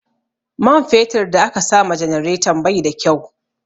Man fetur da aka sama janareton bai da kyau